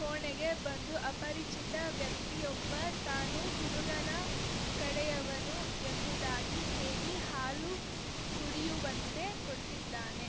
ಕೋಣೆಗೆ ಬಂದು ಅಪರಿಚಿತ ವ್ಯಕ್ತಿಯೊಬ್ಬ ತಾನು ಹುಡುಗನ ಕಡೆಯವನು ಎಂಬುದಾಗಿ ಹೇಳಿ ಹಾಲು ಕುಡಿಯುವಂತೆ ಕೊಟ್ಟಿದ್ದಾನೆ